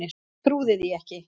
Trúði því ekki.